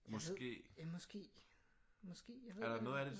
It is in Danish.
Jeg ved ja måske. Måske jeg ved det ikke